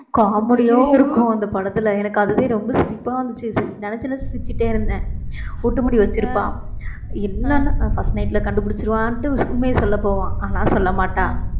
comedy யாவும் இருக்கும் அந்த படத்துல எனக்கு அதுவே ரொம்ப சிரிப்பா வந்துச்சு நினைச்சு நினைச்சு சிரிச்சிட்டே இருந்தேன் ஒட்டு முடி வச்சிருப்பா இல்லைன்னா first night ல கண்டுபிடிச்சிருவான்னுட்டு உண்மைய சொல்லபோவா ஆனா சொல்ல மாட்டா